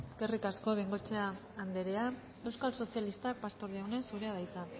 eskerrik asko bengoechea anderea euskal sozialistak pastor jauna zurea da hitza